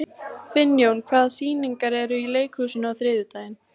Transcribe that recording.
Finnjón, hvaða sýningar eru í leikhúsinu á þriðjudaginn?